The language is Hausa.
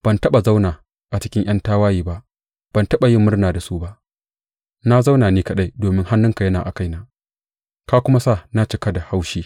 Ban taɓa zauna a cikin ’yan tawaye ba, ban taɓa yi murna da su ba; na zauna ni kaɗai domin hannunka yana a kaina ka kuma sa na cika da haushi.